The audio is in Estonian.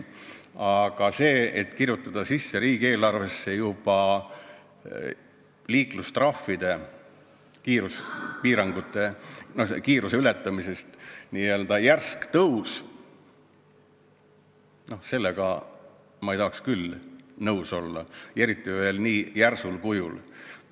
Aga sellega, et kirjutada riigieelarvesse sisse kiiruse ületamise eest kasseeritavate trahvide järsk tõus, ei tahaks ma küll nõus olla, eriti kui seda tehakse veel nii järsul kujul.